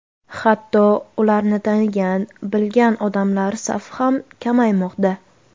Hatto ularni tanigan, bilgan odamlar safi ham kamaymoqda.